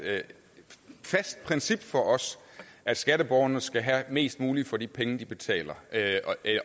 fast princip for os at skatteborgerne skal have mest muligt for de penge de betaler